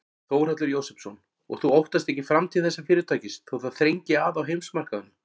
Þórhallur Jósefsson: Og þú óttast ekki framtíð þessa fyrirtækis þó það þrengi að á heimsmarkaðnum?